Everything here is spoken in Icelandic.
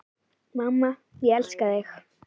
Mamma, ég elska þig.